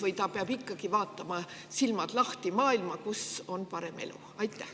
Või ta peab ikkagi vaatama, silmad lahti, maailmas ringi, kus on parem elu?